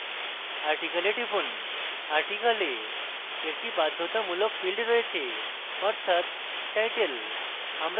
article e টিপুন article e একটি বাধ্যতামূলক field রয়েছে অর্থাৎ title